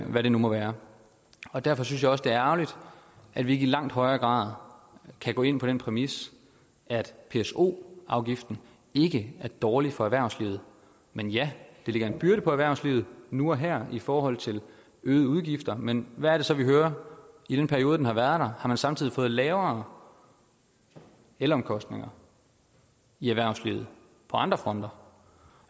hvad det nu må være derfor synes jeg også at det er ærgerligt at vi ikke i langt højere grad kan gå ind på den præmis at pso afgiften ikke er dårlig for erhvervslivet men ja den lægger en byrde på erhvervslivet nu og her i forhold til øgede udgifter men hvad er det så vi hører i den periode den har været der har man samtidig fået lavere elomkostninger i erhvervslivet på andre fronter